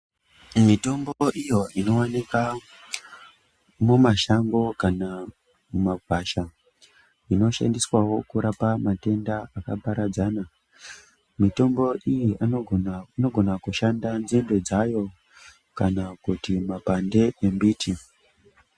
Mitombo iyo ino wanika mumashango kana mumakwasha zvino shandiswawo kurapa matenda aka paradzana mitombo iyi inogona kushanda nzinde dzayo kana kuti makwande embiti.